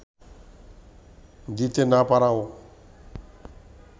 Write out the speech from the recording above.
দিতে না পারাও